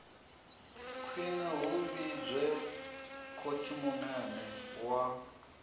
khwine hu vhidzwe khotsimunene wa